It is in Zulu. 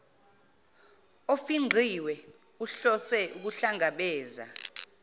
ofingqiwe uhlose ukuhlangabeza